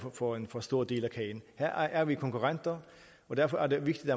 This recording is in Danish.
får en for stor del af kagen her er vi konkurrenter og derfor er det vigtigt